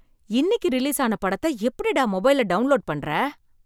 இன்னைக்கு ரிலீஸ் ஆன படத்தை எப்படிடா மொபைல்ல டவுன்லோட் பண்ற?